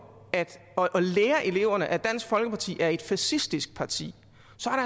og lærer eleverne at dansk folkeparti er et fascistisk parti